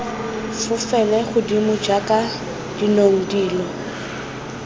fofele godimo jaaka dinong dilo